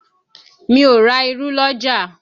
Mi ò ra irú l'ọ́jà